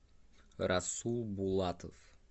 расул булатов